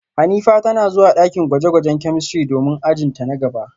Hanifa tana zuwa dakin gwaje-gwajen chemistry domin ajin ta na gaba